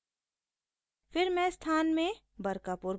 फिर मैं स्थान place में बरकापुर भरूँगी